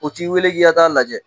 U t'i wele k'i ka ta'a lajɛ